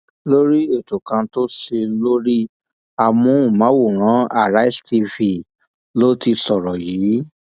lórí ètò kan tó ṣe lórí amóhùnmáwòrán àrísé tv ló ti sọrọ yìí